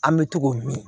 An bɛ to k'o min